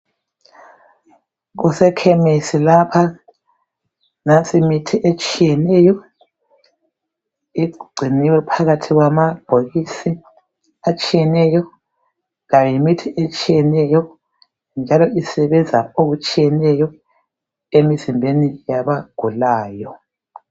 Kusekhemesi lapha nansi imithi etshiyeneyo egciniweyo phakathi kwamabhokisi atshiyeneyo lemithi etshiyeneyo njalo isebenza okutshiyeneyo emzimbeni yabagulayo